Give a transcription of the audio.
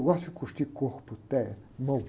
Eu gosto de curtir corpo, pé, mão.